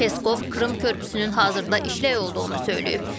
Peskov Krım körpüsünün hazırda işlək olduğunu söyləyib.